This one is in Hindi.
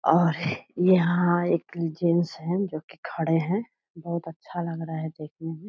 और यहाँ एक जेंट्स हैं जो की खड़े हैं। बहुत अच्छा लग रहा है देखने में।